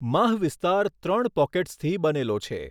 માહ વિસ્તાર ત્રણ પૉકેટ્સથી બનેલો છે.